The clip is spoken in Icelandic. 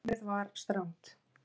Námið var strangt.